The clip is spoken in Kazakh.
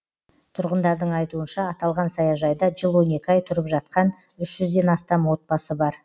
тұрғындардың айтуынша аталған саяжайда жыл он екі ай тұрып жатқан үш жүзден астам отбасы бар